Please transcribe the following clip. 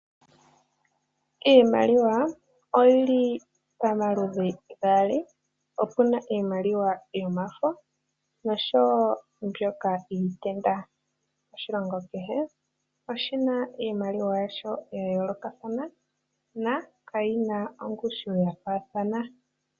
Iimaliwa oyili pamaludhi gaali, opuna iimaliwa yomafo noshoo woo mbyoka yiitenda. Oshilongo kehe oshina iimaliwa yasho yayoolokathana na kayina ongushu yafaathana.